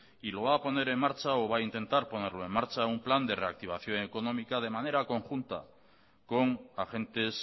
y lo va a poner en marcha o va a intentar ponerlo en marcha un plan de reactivación económica de manera conjunta con agentes